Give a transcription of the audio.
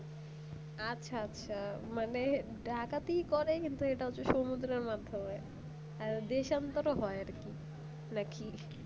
আচ্ছা আচ্ছা মানে ডাকাতি করে কিন্তু এটা হচ্ছে সমুদ্রের মাধ্যমে আর দেশ অন্তর হয় আর কি নাকি